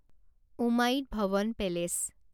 Umaid Bhawan palace